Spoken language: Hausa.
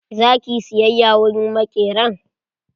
Za ki yi siyayya wurin maƙeran?